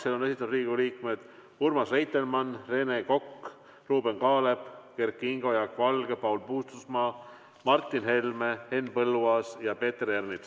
Selle on esitanud Riigikogu liikmed Urmas Reitelmann, Rene Kokk, Ruuben Kaalep, Kert Kingo, Jaak Valge, Paul Puustusmaa, Martin Helme, Henn Põlluaas ja Peeter Ernits.